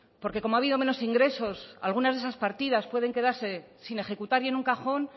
porque como ha habido menos ingresos algunas de esas partidas pueden quedarse sin ejecutar y en un cajón